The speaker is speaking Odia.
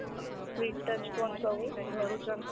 screentouch phone ସବୁ ଧରୁଛନ୍।